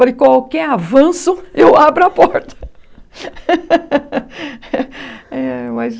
Falei, qualquer avanço, eu abro a porta.